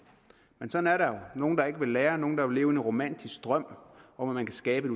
men sådan er der jo nogle der ikke vil lære men vil leve i en romantisk drøm om at man kan skabe